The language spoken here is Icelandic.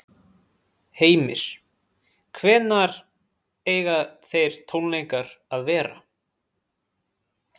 Heimir: Hvenær eiga þeir tónleikar að vera?